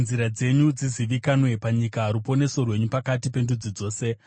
kuti nzira dzenyu dzizivikanwe panyika, ruponeso rwenyu pakati pendudzi dzose.